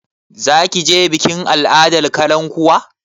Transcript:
Za ki je bikin al'adar kalankuwa?